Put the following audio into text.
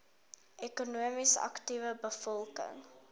ekonomies aktiewe bevolking